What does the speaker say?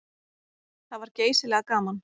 Það var geysilega gaman.